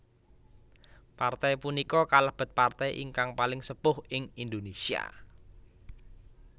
Partai punika kalebet partai ingkang paling sepuh ing Indonesia